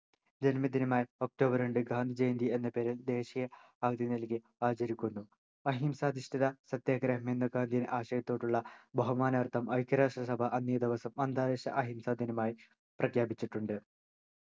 ജന്മദിനമായ October രണ്ട് ഗാന്ധിജയന്തി എന്ന പേരിൽ ദേശീയ അവധി നൽകി ആചരിക്കുന്നു അഹിംസധിഷ്ഠിത പ്രത്യേഗ്രഹം എന്ന ഗാന്ധിടെ ആശയത്തോടുള്ള ബഹുമാനാർത്ഥം ഐക്യരാഷ്ട്ര അന്നേദിവസം അന്താരാഷ്ട്ര അഹിംസാദിനമായി പ്രഖ്യാപിച്ചിട്ടുണ്ട്